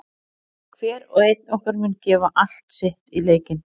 Hver og einn okkar mun gefa allt sitt í leikinn.